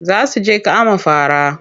Za su je kama fara.